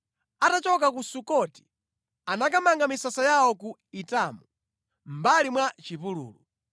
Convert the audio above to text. Atachoka ku Sukoti anakamanga misasa yawo ku Etamu, mʼmbali mwa chipululu.